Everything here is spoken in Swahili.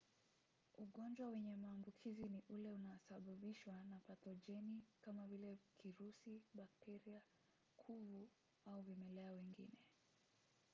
ugonjwa wenye maambukizi ni ule unaosababishwa na pathojeni kama vile kirusi bakteria kuvu au vimelea wengine